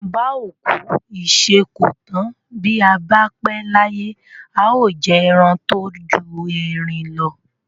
Bà ó kú ìṣe kò tán. Bi a ba pe laye, a o jẹ eran to ju erin lo.